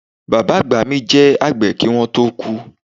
Baba agba mi je agbe ki won to ku